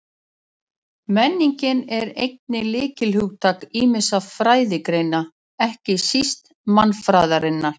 Menning er einnig lykilhugtak ýmissa fræðigreina, ekki síst mannfræðinnar.